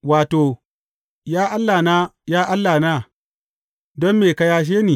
Wato, Ya Allahna, ya Allahna, don me ka yashe ni?